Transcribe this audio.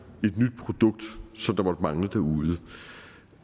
et nyt produkt som måtte mangle derude